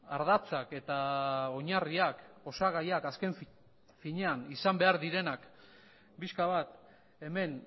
ardatzak eta oinarriak osagaiak azken finean izan behar direnak pixka bat hemen